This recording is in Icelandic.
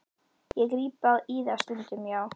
Ég gríp í það stundum, já.